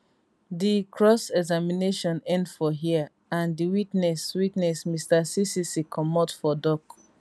di crossexamination end for hia and di witness witness mr ccc comot for dock